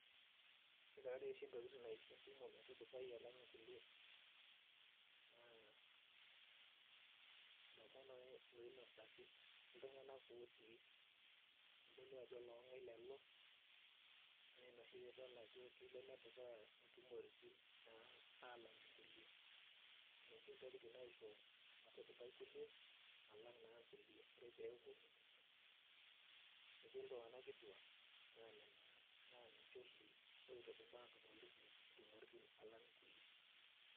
Ore tadi oshi intokiting naisho entumo metudupai alang inkulie, naa ilomon oinosaki, iltung'anak otii, kitodolu ajo long'ai lelo, naa ina oshi pidol ajo kelo nedupaa intumoritin naa alang' inkulie. Nena oshi ntokiting naisho metudupai kulie, alang naa nkulie, ore peeku etii iltung'anak kituak, naa nena na ninche oshi oitudupaa ntumoritin alang kulie.